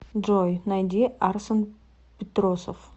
джой найди арсен петросов